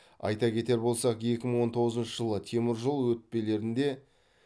айта кетер болсақ екі мың он тоғызыншы жылы теміржол өтпелерінде